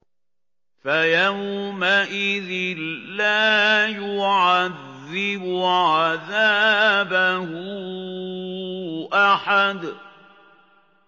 فَيَوْمَئِذٍ لَّا يُعَذِّبُ عَذَابَهُ أَحَدٌ